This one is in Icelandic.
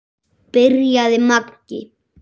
byrjaði Maggi.